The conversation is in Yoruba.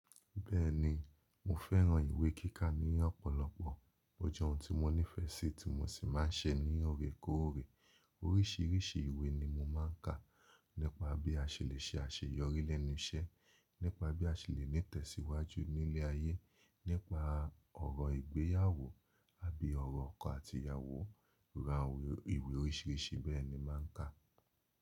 Bẹ́ẹ̀ni mo fẹ́ràn ìwé kíkà ní ọ̀pọ̀lọpọ̀. Ó jẹ́ ohun tí mo nífẹ̀ẹ́ sí tí mo sì máa ń ṣe ní ọ̀rẹ́ kó ọ̀rẹ́. Oríṣiríṣi ìwé ni mo máa ń kà; nípa bí a ṣe lè ṣe àṣeyọrí lẹ́nu iṣẹ́, nípa bí a ṣe lè ní tẹ̀síwájú ní ilé ayé, nípa ọ̀rọ̀ ìgbéyàwó àbí ọ̀rọ̀ ọkọ àti ìyàwó. Rárá ìwé oríṣiríṣi bẹ́ẹ̀ ni mo máa ń kà.